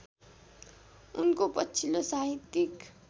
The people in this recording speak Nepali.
उनको पछिल्लो साहित्यिक